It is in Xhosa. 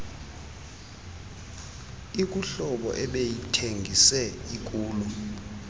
ikuhlobo ebeyithengise ikulo